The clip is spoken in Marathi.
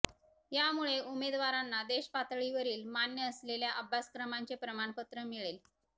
यामुळे उमेदवारांना देश पातळीवरील मान्य असलेल्या अभ्यासक्रमांचे प्रमाणपत्र मिळेल